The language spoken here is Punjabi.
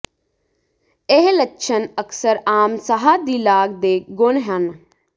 ਇਹ ਲੱਛਣ ਅਕਸਰ ਆਮ ਸਾਹ ਦੀ ਲਾਗ ਦੇ ਗੁਣ ਹਨ